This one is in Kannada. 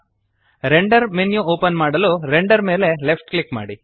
ರೆಂಡರ್ ಮೆನ್ಯು ಓಪನ್ ಮಾಡಲು ರೆಂಡರ್ ಮೇಲೆ ಲೆಫ್ಟ್ ಕ್ಲಿಕ್ ಮಾಡಿ